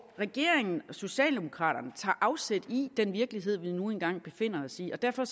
socialdemokraterne tager afsæt i den virkelighed vi nu engang befinder os i og derfor